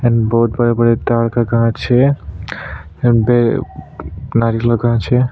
And बहुत बड़े - बड़े तार का कांच है एंड बे नारी लगाउ छे।